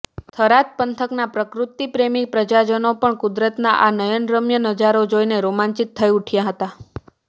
થરાદ પંથકના પ્રકૃતીપ્રેમી પ્રજાજનો પણ કુદરતના આ નયનરમ્ય નજારો જોઇને રોમાંચિત થઇ ઉઠ્યા હતા